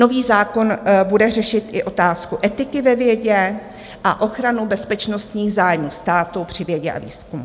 Nový zákon bude řešit i otázku etiky ve vědě a ochranu bezpečnostních zájmů státu při vědě a výzkumu,